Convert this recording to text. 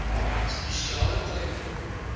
spesiale klem op